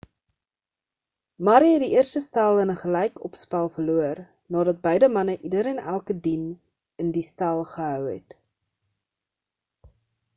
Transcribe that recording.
murray het die eerste stel in 'n gelykopspel verloor nadat beide manne ieder en elke dien in die stel gehou het